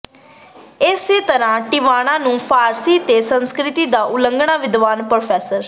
ਇਸੇ ਤਰ੍ਹਾਂ ਟਿਵਾਣਾ ਨੂੰ ਫਾਰਸੀ ਅਤੇ ਸੰਸਕ੍ਰਿਤ ਦਾ ਉੱਘਾ ਵਿਦਵਾਨ ਪ੍ਰੋ